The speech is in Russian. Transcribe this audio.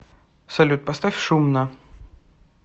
салют поставь шумно